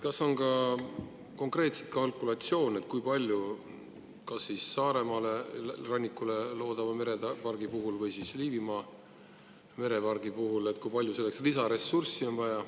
Kas on konkreetselt kalkulatsioone, kui palju on Saaremaa rannikule loodava merepargi või Liivimaa merepargi puhul selleks vaja lisaressurssi?